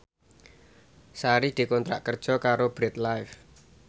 Sari dikontrak kerja karo Bread Life